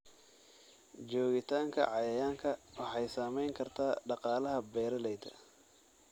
Joogitaanka cayayaanka waxay saameyn kartaa dhaqaalaha beeralayda.